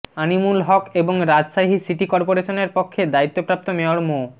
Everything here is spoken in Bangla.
আমিনুল হক এবং রাজশাহী সিটি করপোরেশনের পক্ষে দায়িত্বপ্রাপ্ত মেয়র মো